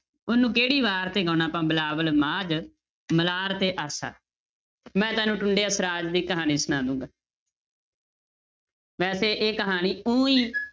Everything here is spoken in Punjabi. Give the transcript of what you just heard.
ਉਹਨੂੰ ਕਿਹੜੀ ਵਾਰ ਤੇ ਗਾਉਣਾ ਆਪਾਂ ਬਿਲਾਵਲ, ਮਾਝ, ਮਲਾਰ ਤੇ ਆਸਾ, ਮੈਂ ਤੁਹਾਨੂੰ ਟੁੰਡੇ ਅਸਰਾਜ ਦੀ ਕਹਾਣੀ ਸੁਣਾ ਦਊਂਗਾ ਵੈਸੇ ਇਹ ਕਹਾਣੀ ਊਂ ਈ